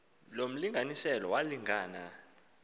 lo mlinganiselo wolingana